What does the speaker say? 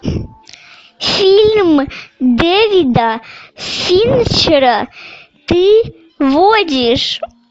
фильм дэвида финчера ты водишь